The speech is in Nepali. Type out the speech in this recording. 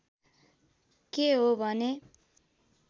के हो भने